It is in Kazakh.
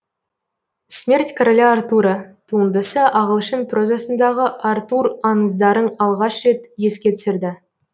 смерть короля артура туындысы ағылшын прозасындағы артур аңыздарын алғаш рет еске түсірді